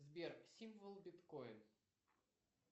сбер символ биткоин